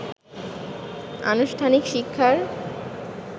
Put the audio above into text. আনুষ্ঠানিক শিক্ষার